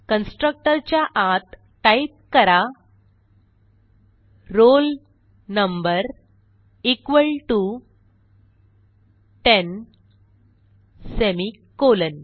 constructor च्या आत type करा roll number equal to ten semicolon